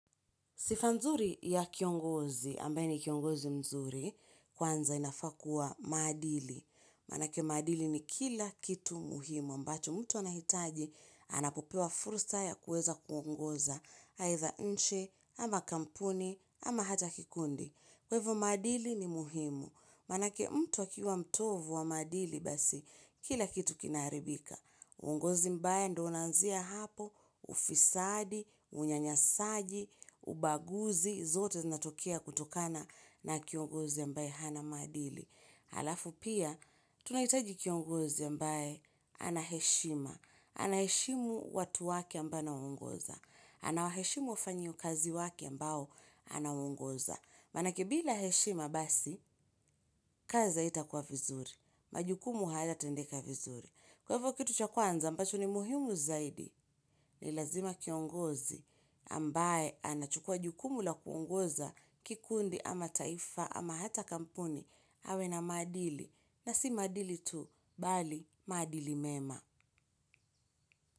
Sifa nzuri ya kiongozi, ambaye ni kiongozi mzuri, kwanza inafaa kuwa madili. Manake maadili ni kila kitu muhimu, mbacho mtu anahitaji, anapopewa fursa ya kueza kuongoza, haitha nji, ama kampuni, ama hata kikundi. Kwa ivo maadili ni muhimu. Manake mtu akiwa mtovu wa maadili basi, kila kitu kinaribika. Uongozi mbaya ndo unanzia hapo, ufisadi, unyanyasaji, ubaguzi, zote zinatokia kutokana na kiongozi ambaye hana maadili. Alafu pia, tunaitaji kiongozi ambaye ana heshima, ana heshimu watu wake ambaye anaongoza, anawaheshimu wafanyi ukazi wake ambao anaongoza. Manake bila heshima basi, kazi aitakuwa vizuri, majukumu haya tendeka vizuri. Kwa hivyo kitu cha kwanza ambacho ni muhimu zaidi ni lazima kiongozi ambaye anachukua jukumu la kuongoza kikundi ama taifa ama hata kampuni awe na maadili na si maadili tu bali maadili mema.